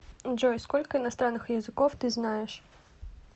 джой сколько иностранных языков ты знаешь